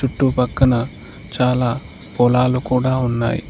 చుట్టు పక్కన చాలా పొలాలు కూడా ఉన్నాయి.